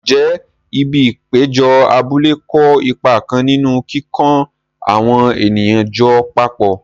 Ǹjẹ́ ibi ìpéjọ abúlé kó ipa kan nínú kíkó àwọn ènìyàn jọ papọ̀?